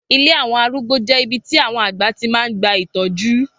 Ilé àwọn arúgbó jẹ́ ibi tí àwọn àgbà tí máa ń gba ìtọ́jú.